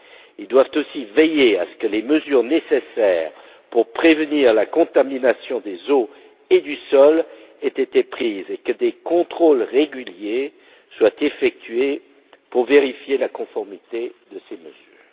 Ils doivent aussi veiller à ce que les mesures nécessaires pour prévenir la contamination des eaux et du sol aient été prises et que des contrôles réguliers soient effectués pour vérifier la conformité de ces mesures.